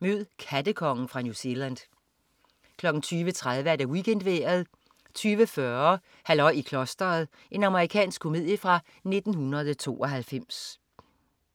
Mød "kattekongen" fra New Zealand 20.30 WeekendVejret 20.40 Halløj i klosteret. Amerikansk komedie fra 1992